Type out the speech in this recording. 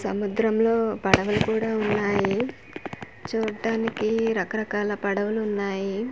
సముద్రం లో పడవలు కూడా ఉన్నాయి చూట్టానికి రకరకాల పడవలు ఉన్నాయి.